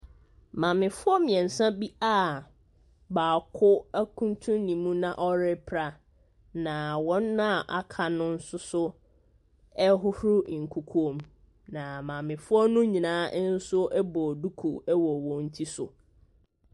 Maame foɔ miensa bi a baako akuntun ne mu ɔpra na wɔn a aka no nso ɛhohoro nkukuo mu na maame foɔ no nyinaa bɔ duku wɔ wɔn tiri so.